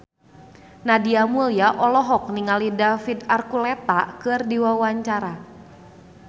Nadia Mulya olohok ningali David Archuletta keur diwawancara